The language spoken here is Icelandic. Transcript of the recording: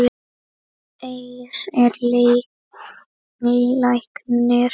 Eir er læknir